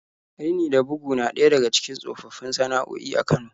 Rini da bugu na ɗaya daga cikin tsofaffin sana'o'i a Kano.